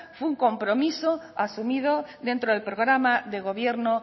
fue un compromiso asumido dentro del programa de gobierno